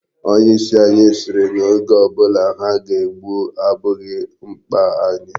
Onye isi anyị sịrị na oge ọ bụla ha ga-egbu abụghị mkpa anyị.